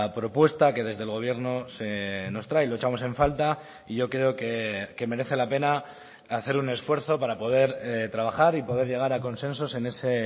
propuesta que desde el gobierno nos trae lo echamos en falta y yo creo que merece la pena hacer un esfuerzo para poder trabajar y poder llegar a consensos en ese